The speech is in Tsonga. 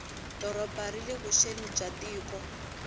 doroba rile vuxeni bya tiko